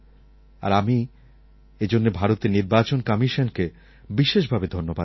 আর আমি এজন্য ভারতের নির্বাচন কমিশনকে বিশেষভাবে ধন্যবাদ জানাই